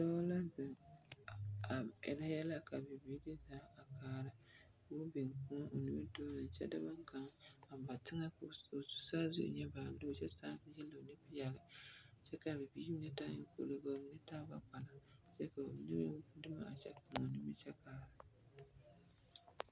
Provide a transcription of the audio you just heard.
Dɔɔ la zeŋ, a a erɛ yɛlɛ ka biblii zeŋ a kaara ko biŋ kõɔ o nimitɔɔreŋ kyɛ de boŋkaŋa a ba teŋɛ s ko saazu e ŋa baalug kyɛ sãã yelo ne peɛle kyɛ kaa bibiiri mine taa eŋkpolo ka ba mine taa gbɛ-kpala kyɛ ka ba mine meŋ gbi dumo a kyɛ moɔ nimiri kyɛ kaara.